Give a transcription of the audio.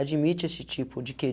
admite esse tipo de que?